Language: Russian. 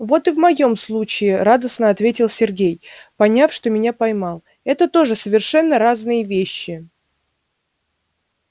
вот и в моем случае радостно ответил сергей поняв что меня поймал это тоже совершенно разные вещи